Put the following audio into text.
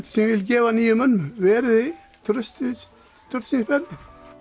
sem ég vil gefa nýjum mönnum veriði traustsins verðir